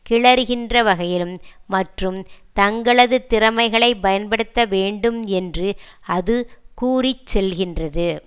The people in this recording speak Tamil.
கிளறுகின்ற வகையிலும் மற்றும் தங்களது திறமைகளை பயன்படுத்த வேண்டும் என்று அது கூறிச்செல்கின்றது